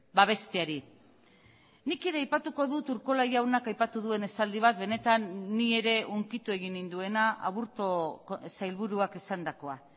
babesteari nik ere aipatuko dut urkola jaunak aipatu duen esaldi bat benetan ni ere hunkitu egin ninduena aburto sailburuak esandakoa